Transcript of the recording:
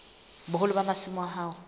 boholo ba masimo a hao